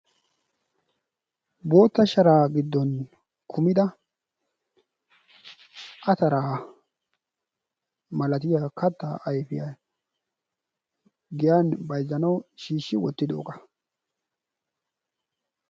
guutta sharaa giddon kumida ataraa malatiyaa kattaa ayfiyaa giyaan bayzzanawu shiishi wottidoogaa.